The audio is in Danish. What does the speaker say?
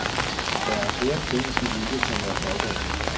Der er flere ting, de ikke kan være stolte af.